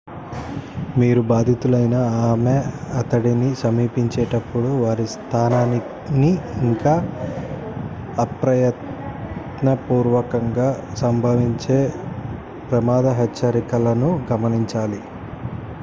మీరు బాధితులైన ఆమె/అతడిని సమీపించేటపుడు వారి స్థానాన్ని ఇంకా అప్రయత్నపూర్వకంగా సంభవించే ప్రమాద హెచ్చరికలను గమనించాలి